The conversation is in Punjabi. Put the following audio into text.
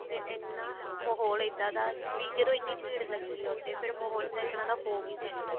ਉੱਥੇ ਇੰਨਾ ਮਾਹੋਲ ਇੱਦਾਂ ਦਾ ਵੀ ਜਦੋਂ ਇੰਨੀ ਭੀੜ ਲੱਗੀ ਆ ਉੱਥੇ ਫ਼ੇਰ ਮਾਹੋਲ ਤਾਂ ਇਕਨ ਦਾ ਹੋ ਵੀ ਸਕਦਾ